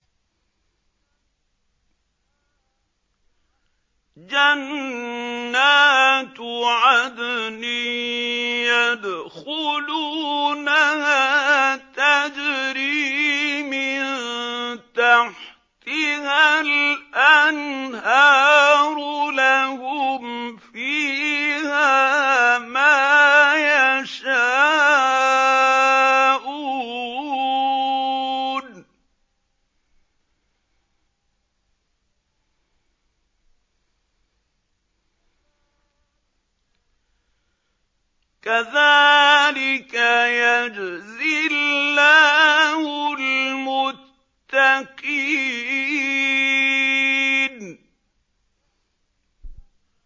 جَنَّاتُ عَدْنٍ يَدْخُلُونَهَا تَجْرِي مِن تَحْتِهَا الْأَنْهَارُ ۖ لَهُمْ فِيهَا مَا يَشَاءُونَ ۚ كَذَٰلِكَ يَجْزِي اللَّهُ الْمُتَّقِينَ